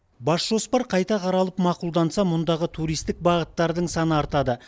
бас жоспар қайта қаралып мақұлданса мұндағы туристік бағыттардың саны артады